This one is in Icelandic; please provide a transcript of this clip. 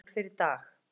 Snýst um stól fyrir Dag